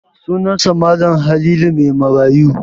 Sunansa Mal. Halilu Maimarayu.